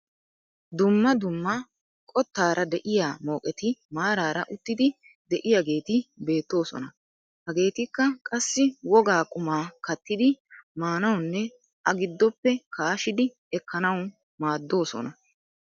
Dumma dumma qottaara de'iyaa mooqetti maarara uttidi de'iyaageti beetoosona. hageetikka qassi wogaa qumaa kattidi maanawunne a giddoppe kaashidi ekkanawu maaddoosona.